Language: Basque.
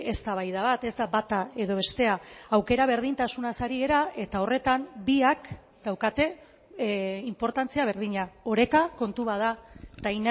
eztabaida bat ez da bata edo bestea aukera berdintasunaz ari gara eta horretan biak daukate inportantzia berdina oreka kontu bat da eta